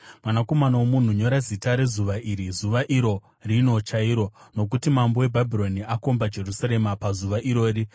“Mwanakomana womunhu, nyora zita rezuva iri, zuva iro rino chairo, nokuti mambo weBhabhironi akomba Jerusarema pazuva irori.